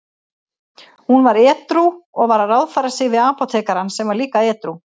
Hún var edrú og var að ráðfæra sig við apótekarann sem var líka edrú.